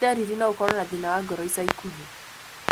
Nĩ ndariri no ũkoro na thĩna wa ngoro ica ikuhĩ.